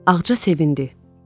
Ağca sevindi.